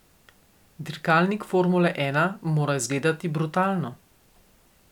Dirkalnik formule ena mora izgledati brutalno.